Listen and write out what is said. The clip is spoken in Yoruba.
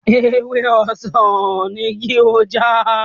Ewé ọsàn ni kí o já!